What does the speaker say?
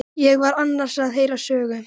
Ég var annars að heyra sögu.